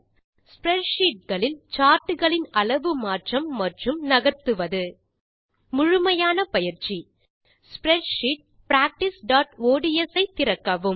spreadsheet களில் chartகளின் அளவு மாற்றம் மற்றும் நகர்த்துவது முழுமையான பயிற்சி ஸ்ப்ரெட்ஷீட் practiceஒட்ஸ் ஐ திறக்கவும்